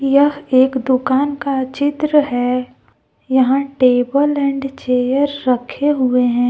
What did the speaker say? यह एक दुकान का चित्र है यहां टेबल एंड चेयर रखे हुए हैं।